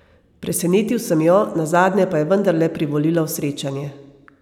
Presenetil sem jo, nazadnje pa je vendarle privolila v srečanje.